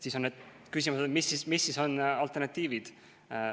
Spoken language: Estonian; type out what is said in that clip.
Siis on küsimus, mis on alternatiivid.